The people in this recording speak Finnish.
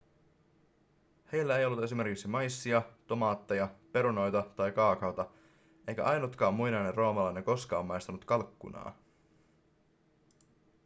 heillä ei ollut esimerkiksi maissia tomaatteja perunoita tai kaakaota eikä ainutkaan muinainen roomalainen koskaan maistanut kalkkunaa